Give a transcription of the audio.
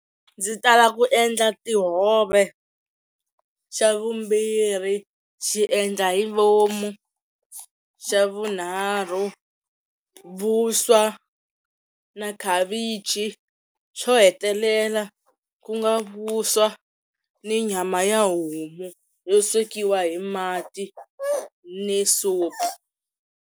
Ndzi tala ku endla tihove, xa vumbirhi xi endla hi vomu, xa vunharhu vuswa na khavichi xo hetelela ku nga vuswa ni nyama ya homu yo swekiwa hi mati ni supu.